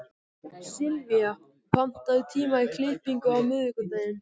Sylvía, pantaðu tíma í klippingu á miðvikudaginn.